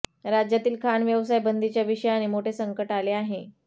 राज्यातील खाण व्यवसाय बंदीच्या विषयाने मोठे संकट आले आहे